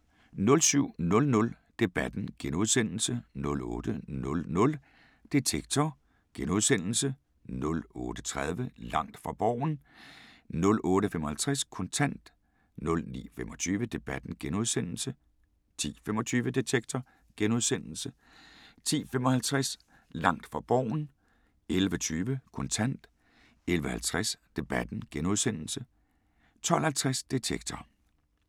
07:00: Debatten * 08:00: Detektor * 08:30: Langt fra Borgen 08:55: Kontant 09:25: Debatten * 10:25: Detektor * 10:55: Langt fra Borgen 11:20: Kontant 11:50: Debatten * 12:50: Detektor *